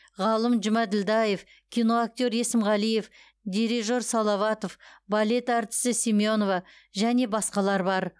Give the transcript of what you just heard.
ғалым жұмаділдаев киноактер есімғалиев дирижер салаватов балет әртісі семенова және басқалар бар